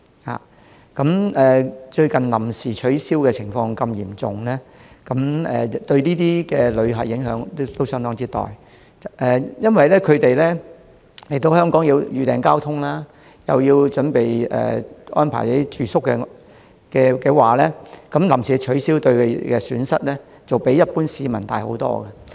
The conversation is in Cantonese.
最近多次出現活動臨時取消的情況，對旅客有相當大的影響，因為他們來港前要預訂交通及安排住宿，如有關活動臨時取消，他們承受的損失會較一般市民多。